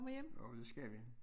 Jo det skal vi